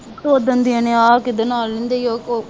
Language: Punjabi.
ਉਹ ਦਿਨ ਇਹਨੇ ਆਹ ਕਿਹਦੇ ਨਾਲ ਉ